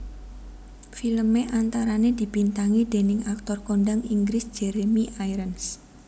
Filmé antarané dibintangi déning aktor kondang Inggris Jeremy Irons